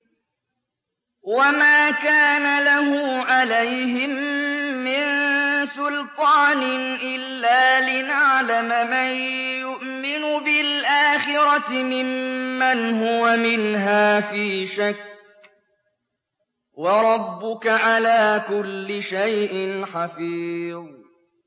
وَمَا كَانَ لَهُ عَلَيْهِم مِّن سُلْطَانٍ إِلَّا لِنَعْلَمَ مَن يُؤْمِنُ بِالْآخِرَةِ مِمَّنْ هُوَ مِنْهَا فِي شَكٍّ ۗ وَرَبُّكَ عَلَىٰ كُلِّ شَيْءٍ حَفِيظٌ